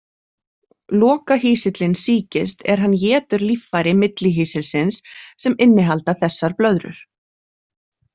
Lokahýsillinn sýkist er hann étur líffæri millihýsilsins sem innihalda þessar blöðrur.